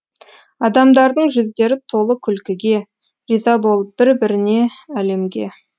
адамдардың жүздері толы күлкіге риза болып бір біріне әлемге